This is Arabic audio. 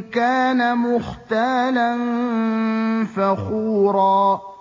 كَانَ مُخْتَالًا فَخُورًا